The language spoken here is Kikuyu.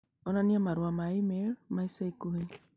onania marũa ma e-mail ma ica ikuhĩ